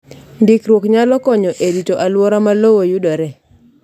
Ndikruok nyalo konyo e rito alwora ma lowo yudoree